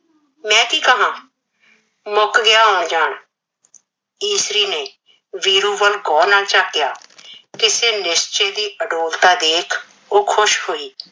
ਮੈਂ ਕੀ ਕਰਨਾ, ਮੁਕ ਗਿਆ ਆਣ ਜਾਣ, ਈਸਰੀ ਨੇ ਵੀਰੂ ਵੱਲ ਗੋਹ ਨਾ ਝਾਕਿਆ। ਕਿਸੇ ਨਿਸ਼ਚੇ ਦੀ ਅਡੋਲਤਾ ਦੇਖ ਉਹ ਖੁਸ਼ ਹੋਈ।